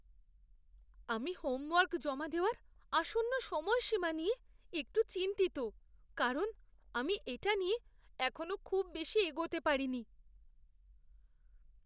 আমি হোমওয়ার্ক জমা দেওয়ার আসন্ন সময়সীমা নিয়ে একটু চিন্তিত কারণ আমি এটা নিয়ে এখনো খুব বেশি এগোতে পারিনি।